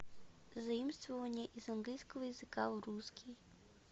заимствования из английского языка в русский